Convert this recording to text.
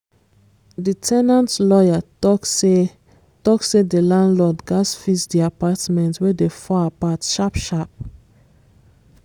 di ten ant lawyer talk say talk say di landlord gatz fix di apartment wey dey fall apart sharp sharp.